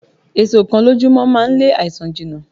Èso kan lójú mọ́ máa ń lé àìsàn jìnà.